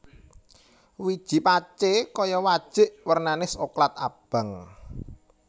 Wiji pacé kaya wajik wernané soklat abang